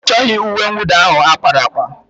Ọ chọghị uwe mwụda ahụ ákpáraàkpà?